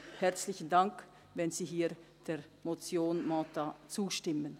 Herzlichen Dank, wenn Sie hier der Motion Mentha zustimmen.